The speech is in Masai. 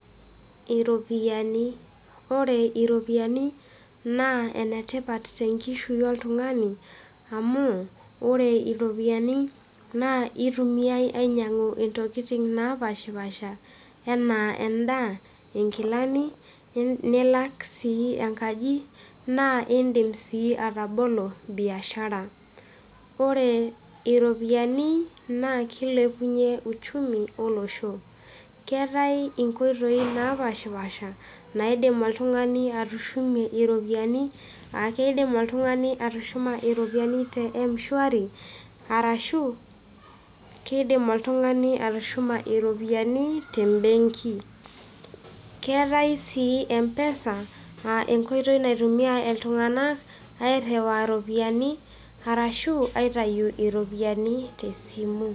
Iropiyiani. Ore iropiyiani, naa enetipat tenkishui oltung'ani, amu, ore iropiyiani, na itumiai ainyang'u intokiting napashipasha, enaa endaa, inkilani, nilak si enkaji, na idim si atabolo biashara. Ore iropiyiani, naa kilepunye uchumi olosho. Keetae inkoitoii napashipasha, naidim oltung'ani atushumie iropiyiani, akidim oltung'ani atushuma iropiyiani te m-shwari, arashu, kidim oltung'ani atushuma iropiyiani tebenki. Keetae si M-PESA, ah enkoitoi naitumia iltung'anak airriwaa iropiyiani, arashu aitayu iropiyiani tesimu.